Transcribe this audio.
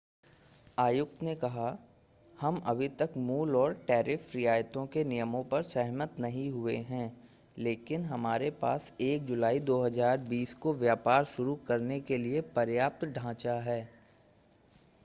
आयुक्त ने कहा हम अभी तक मूल और टैरिफ रियायतों के नियमों पर सहमत नहीं हुए हैं लेकिन हमारे पास 1 जुलाई 2020 को व्यापार शुरू करने के लिए पर्याप्त ढांचा है